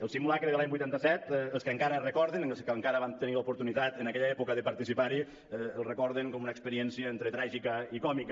el simulacre de l’any vuitanta set els que encara el recorden els que encara van tenir l’oportunitat en aquella època de participar hi el recorden com una experiència entre tràgica i còmica